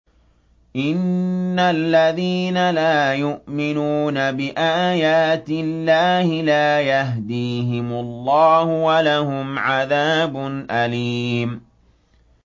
إِنَّ الَّذِينَ لَا يُؤْمِنُونَ بِآيَاتِ اللَّهِ لَا يَهْدِيهِمُ اللَّهُ وَلَهُمْ عَذَابٌ أَلِيمٌ